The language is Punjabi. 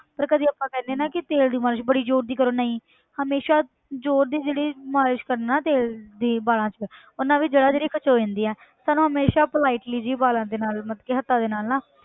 ਪਰ ਕਦੇ ਆਪਾਂ ਕਹਿੰਦੇ ਹਾਂ ਨਾ ਕਿ ਤੇਲ ਦੀ ਮਾਲਿਸ਼ ਬੜੀ ਜ਼ੋਰ ਦੀ ਕਰੋ ਨਹੀਂ ਹਮੇਸ਼ਾ ਜ਼ੋਰ ਦੀ ਜਿਹੜੀ ਮਾਲਿਸ਼ ਕਰਨ ਨਾਲ ਨਾ ਤੇਲ ਦੀ ਵਾਲਾਂ 'ਚ ਉਹਨਾਂ ਦੀ ਜੜ੍ਹਾਂ ਜਿਹੜੀ ਖਿੱਚ ਹੋ ਜਾਂਦੀਆਂ ਸਾਨੂੰ ਹਮੇਸ਼ਾ politely ਜਿਹੇ ਵਾਲਾਂ ਦੇ ਨਾਲ ਮਤਲਬ ਕਿ ਹੱਥਾਂ ਦੇ ਨਾਲ ਨਾ,